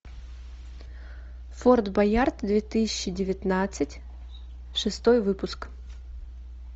форт боярд две тысячи девятнадцать шестой выпуск